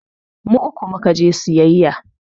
Mu uku mu ka je sayayya.